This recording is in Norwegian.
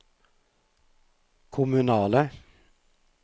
kommunale